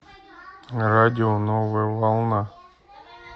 радио новая волна